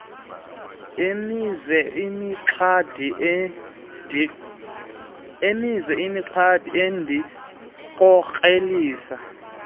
emise imixhadi endikorekisha